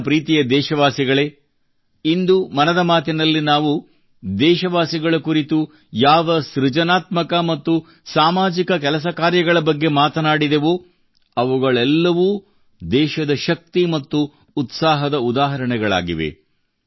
ನನ್ನ ಪ್ರೀತಿಯ ದೇಶವಾಸಿಗಳೇ ಇಂದು ಮನದ ಮಾತಿನಲ್ಲಿ ನಾವು ದೇಶವಾಸಿಗಳ ಕುರಿತು ಯಾವ ಸೃಜನಾತ್ಮಕ ಮತ್ತು ಸಾಮಾಜಿಕ ಕೆಲಸಕಾರ್ಯಗಳ ಬಗ್ಗೆ ಮಾತನಾಡಿದೆವೋ ಅವುಗಳೆಲ್ಲವೂ ದೇಶದ ಶಕ್ತಿ ಮತ್ತು ಉತ್ಸಾಹದ ಉದಾಹರಣೆಗಳಾಗಿವೆ